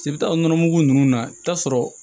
nɔnɔ mugu ninnu na i bɛ taa sɔrɔ